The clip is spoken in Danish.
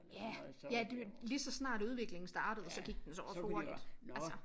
Ja ja det var lige så snart udviklingen startede så gik den så også hurtigt altså